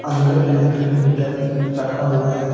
और अंदर electric meter रखा हुआ है।